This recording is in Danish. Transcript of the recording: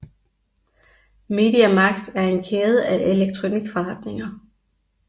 Media Markt er en kæde af elektronikforretninger